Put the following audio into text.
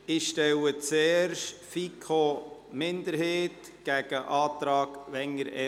Ich stelle zuerst den Antrag FiKoMinderheit dem Antrag EVP gegenüber.